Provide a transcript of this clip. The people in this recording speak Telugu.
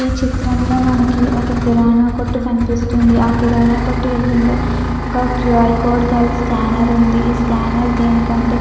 ఈ చిత్రం లో మనకి ఒక కిరానా కొట్టు కనిపిస్తుంది ఆ కిరానా కొట్టు ఎదురుంగ ఒక క్యూ -ఆర్ కోడ్ గల స్కేనర్ ఉంది ఈ స్కేనర్ దేనికంటే.